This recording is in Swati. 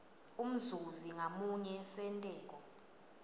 umzuzi ngamunye senteko